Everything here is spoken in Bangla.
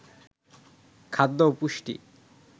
খাদ্য ও পুষ্টি